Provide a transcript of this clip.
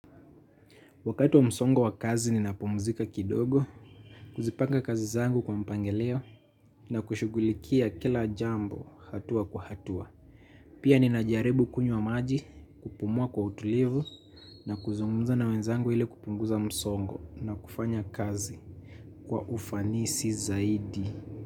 Wakati wa msongo wa kazi ninapumzika kidogo, kuzipanga kazi zangu kwa mpangilio na kushughulikia kila jambo hatua kwa hatua. Pia ninajaribu kunywa maji kupumua kwa utulivu na kuzungumza na wenzangu ili kupunguza msongo na kufanya kazi kwa ufanisi zaidi.